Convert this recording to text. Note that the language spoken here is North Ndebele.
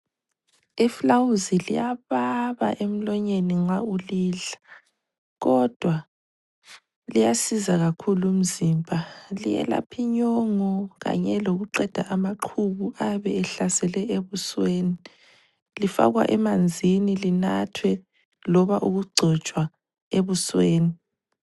Ifulawuzi liyababa emlonyeni nxa ulidla, kodwa liyasiza kakhulu umzimba. Liyelapha inyongo kanye lokuqeda amaqhubu ayabe ehlasele ebusweni. Lifakwa emanzini linathwe loba ukugcotshwa ebusweni.